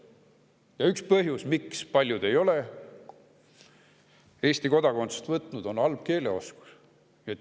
Ja üks põhjus, miks paljud ei ole Eesti kodakondsust võtnud, on halb keeleoskus.